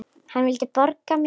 Hann vildi borga mér!